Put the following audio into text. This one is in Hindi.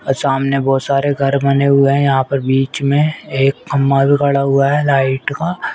सामने बहोत सारे घर बने हुए हैं यहां पर बीच में एक खंबा भी खड़ा हुआ है लाइट का ।